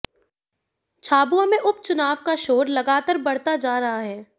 झाबुआ में उपचुनाव का शोर लगातर बढ़ता जा रहा है